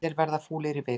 Allir verða fúlir í viku